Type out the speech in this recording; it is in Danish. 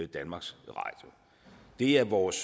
danmarks radio det er vores